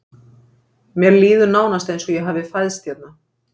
Mér líður nánast eins og ég hafi fæðst hérna.